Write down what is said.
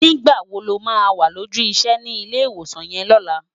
Nigbá wó ló má wá lójù isè ni Ilé Iwósán yèn lòlá?